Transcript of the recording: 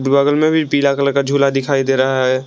बगल में भी पीला कलर का झूला दिखाई दे रहा है।